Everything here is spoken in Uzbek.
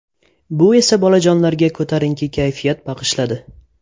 Bu esa bolajonlarga ko‘tarinki kayfiyat bag‘ishladi!